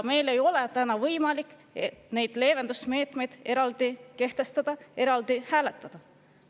Meil ei ole täna võimalik neid leevendusmeetmeid eraldi kehtestada, eraldi hääletada.